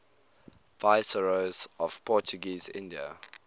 viceroys of portuguese india